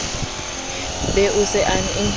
be o se o e